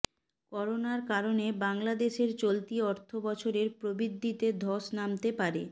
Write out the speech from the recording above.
করোনার কারণে বাংলাদেশের চলতি অর্থবছরের প্রবৃদ্ধিতে ধস নামতে পারে